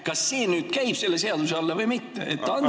Kas see käib selle seaduse alla või mitte?